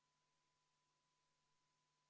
Kas Riigikogu liikmetel on küsimusi hääletamise korra kohta?